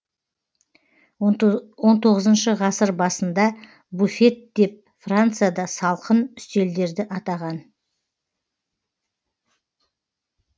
он тоғызыншы ғасыр басында буфет деп францияда салқын үстелдерді атаған